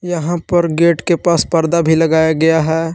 यहां पर गेट के पास पर्दा भी लगाया गया है।